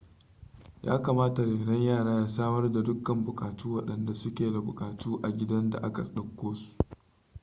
yakamata renon yara ya samar da dukkan bukatu wadanda su ke da bukatu a gidan da aka dauko su